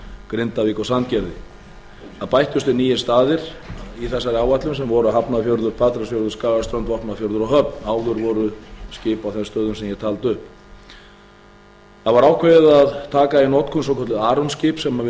grindavík og sandgerði á bættust við nýir staðir í þessa áætlun sem voru hafnarfjörður patreksfjörður skagaströnd vopnafjörður og höfn áður voru skip á þeim stöðum sem ég taldi upp það var ákveðið að taka í notkun svokölluð armskip sem